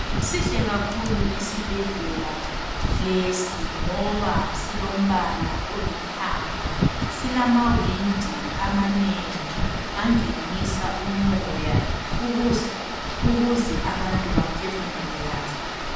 Sihle kakhulu isibhedlela lesi ngoba silombala olithanga silamawindi amanengi angenisa umoya ukuze abantu baphefumule kahle.